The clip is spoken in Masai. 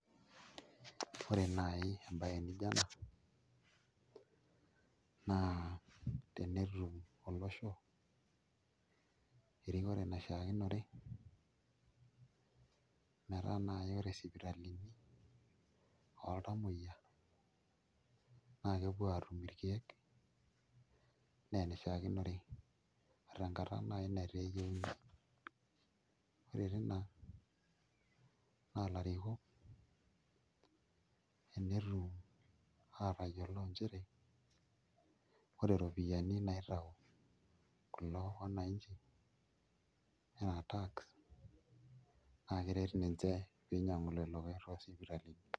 Ore naai embaye nijio ena naa tenetum olosho erikore naishiakinore metaa naai ore isipitalini oltamuoyia naa kepuo aatum irkeek enaa enishiakinore tenakata naai netaa eyieuni ore tina naa ilarikok enetum aatayiolo nchere ore iropiyiani naitau kulo wananchi naa tax naa keret ninche pee inyiang'u lelo keek toosipitalini.